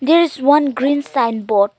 this one green sign board.